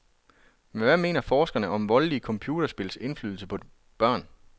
Men hvad mener forskerne om voldelige computerspils indflydelse på børn?